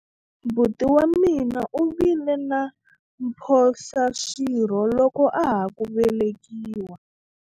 buti wa mina u vile na mphohlaswirho loko a ha ku velekiwa